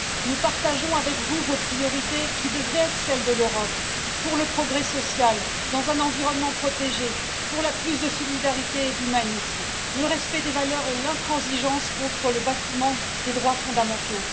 Nous partageons vos priorités, qui devraient être celles de l'Europe pour le progrès social, dans un environnement protégé, pour plus de solidarité et d'humanisme, le respect des valeurs et l'intransigeance contre le bafouement des droits fondamentaux.